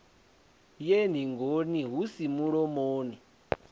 ye ningoni hu si mulomoni